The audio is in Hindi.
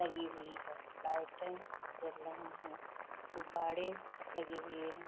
लगी हुई हैं लाइटें जल रही हैं गुब्बारे लगे हुए हैं।